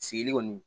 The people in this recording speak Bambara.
Sigili kɔni